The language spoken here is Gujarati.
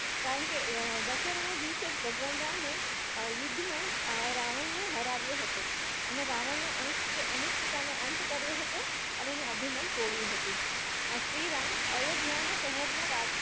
કારણકે અ એ દશેરાના દિવસે જ ભગવાન રામ એ યુદ્ધમાં અ રાવણને હરાવ્યો હતો અને રાવણ નો અનિષ્ટતા નો અનિષ્ટતા નો અંત કર્યો હતો અને એનું અભિમાન તોડ્યું હતું અ શ્રીરામ અયોધ્યા ના શહેરના